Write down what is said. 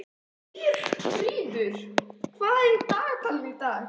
Eyfríður, hvað er í dagatalinu í dag?